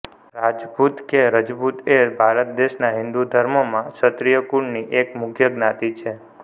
રાજપૂત કે રજપૂત એ ભારત દેશનાં હિંદુ ધર્મ માં ક્ષત્રિય કુળની એક મુખ્ય જ્ઞાતિ છે